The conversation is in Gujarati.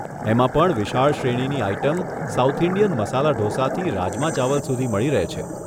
એમાં પણ વિશાળ શ્રેણીની આઇટમ સાઉથ ઇન્ડિયન મસાલા ઢોસાથી રાજમા ચાવલ સુધી મળી રહે છે.